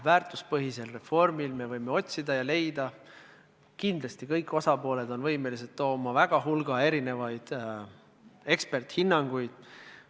Väärtuspõhise reformi korral me võime otsida ja leida – kindlasti on kõik osapooled selleks võimelised – väga palju erisuguseid eksperdihinnanguid.